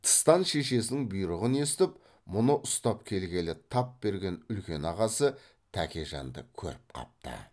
тыстан шешесінің бұйрығын естіп мұны ұстап келгелі тап берген үлкен ағасы тәкежанды көріп қапты